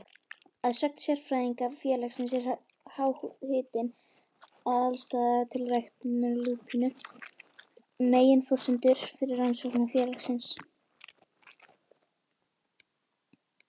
Að sögn sérfræðinga félagsins er háhitinn og aðstaða til ræktunar lúpínu meginforsendur fyrir rannsóknum félagsins.